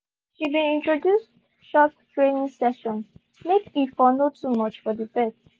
she been introduce short training sessions make e for no too much for the pet.